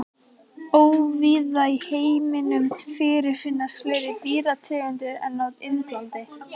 Óvíða í heiminum fyrirfinnast fleiri dýrategundir en á Indlandi.